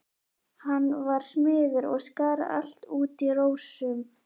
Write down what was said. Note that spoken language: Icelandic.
Hann var smiður og skar allt út í rósum.